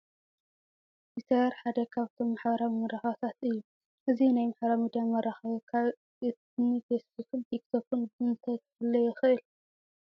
ትዊተር ሓደ ካብቶም ማሕበራዊ መራኸብታት እዩ፡፡ እዚ ናይ ማሕበራዊ ሚዲያ መራኸቢ ካብ እኒ ፌስ ቡክን ቲክ ቶክን ብምንታይ ክፍለ ይኽእል?